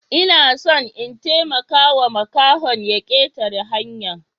Ina son in taimakawa makahon ya ketare hanya.